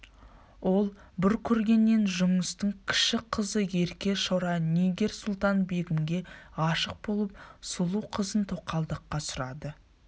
ол бір көргеннен жұныстың кіші қызы ерке шора нигер-сұлтан-бегімге ғашық болып сұлу қызын тоқалдыққа сұрады